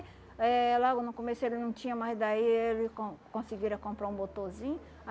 Eh logo no começo ele não tinha, mas daí ele con conseguiram comprar um motorzinho.